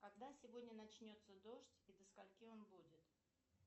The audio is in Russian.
когда сегодня начнется дождь и до скольки он будет